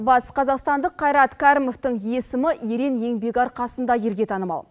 батыс қазақстандық қайрат кәрімовтың есімі ерен еңбегі арқасында елге танымал